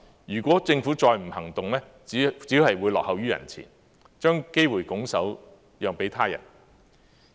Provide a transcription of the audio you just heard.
如果政府再不行動，只會落後於人前，將機會拱手讓給他人。